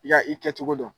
I ka i kɛ cogo dɔn